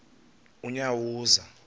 unyawuza